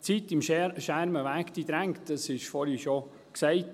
Die Zeit am Schermenweg drängt, dies wurde vorhin schon gesagt.